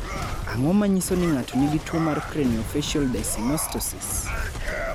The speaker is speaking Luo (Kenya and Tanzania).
Ang�o ma nyiso ni ng�ato nigi tuo mar Craniofacial dyssynostosis?